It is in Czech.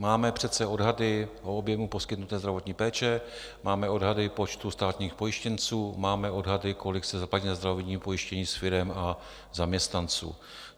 Máme přece odhady o objemu poskytnuté zdravotní péče, máme odhady počtu státních pojištěnců, máme odhady, kolik se zaplatí na zdravotním pojištění z firem a zaměstnanců.